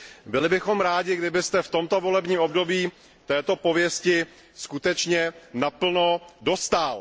Byli bychom rádi, kdybyste v tomto volebním období této pověsti skutečně naplno dostál.